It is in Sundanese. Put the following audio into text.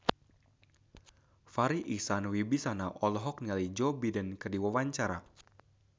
Farri Icksan Wibisana olohok ningali Joe Biden keur diwawancara